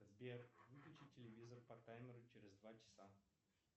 сбер выключи телевизор по таймеру через два часа